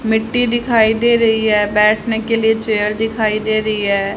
मिट्टी दिखाई दे रही है बैठने के लिए चेयर दिखाई दे रही है।